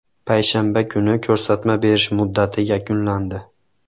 Payshanba kuni ko‘rsatma berish muddati yakunlandi.